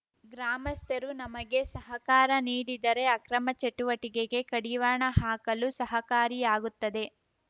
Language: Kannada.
ಗ್ರಾಮಸ್ಥರು ನಮಗೆ ಸಹಕಾರ ನೀಡಿದರೆ ಅಕ್ರಮ ಚಟುವಟಿಕೆಗೆ ಕಡಿವಾಣ ಹಾಕಲು ಸಹಕಾರಿಯಾಗುತ್ತದೆ